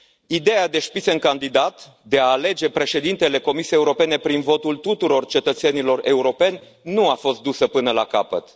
Ideea de Spitzenkandidat de a alege Președintele Comisiei Europene prin votul tuturor cetățenilor europeni nu a fost dusă până la capăt.